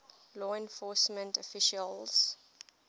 law enforcement officials